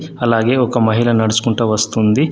అలాగే ఒక మహిళ నడుచుకుంటా వస్తుంది.